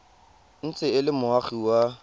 ntse e le moagi wa